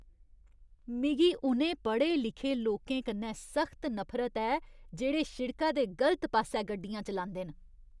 मिगी उ'नें पढ़े लिखे लोकें कन्नै सख्त नफरत ऐ जेह्ड़े शिड़का दे गलत पास्सै गड्डियां चलांदे न।